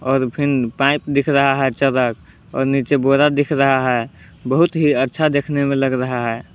और fin pipe दिख रहा है चरक और नीचे बोरा दिख रहा है बहुत ही अच्छा देखने में लग रहा है।